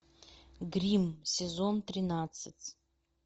дрим сезон тринадцать